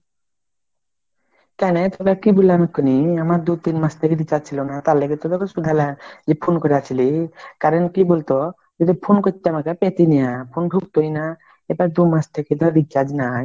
কেনে তোরা কি বললাম এখুনি আমার দুই তিন মাস ধরে recharge ছিল না মানে তার জন্যই তো শুধাইল যে phone করেছিলি ? কারন কি বুলতো যেদি phone করতি আমাকে পেতি না phone ঢুকতোই না এবার দুমাস থেকে ধর recharge নাই